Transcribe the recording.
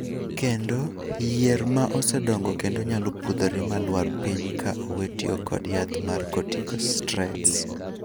Kendo, yier ma osedongo kendo nyalo pudhore ma lwar piny ka owe tiyo kod yath mar corticosteriods.